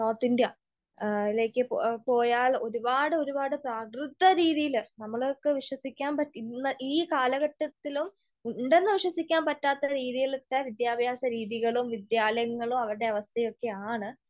North ഇന്ത്യയിലേക് പോയാൽ ഒരുപാട് ഒരുപാട് പ്രാകൃത രീതിയിൽ നമ്മളെയൊക്കെ വിശ്വസിക്കാൻ പറ്റി, ഇന്ന് ഈ കാലഘട്ടത്തിലും ഉണ്ടെന്ന് വിശ്വസിക്കാൻ പറ്റാത്ത രീതിയിലത്തെ വിദ്യാഭ്യാസ രീതികളൂം വിദ്യാലയങ്ങളും അവരുടെ അവസ്ഥയൊക്കെ ആണ്.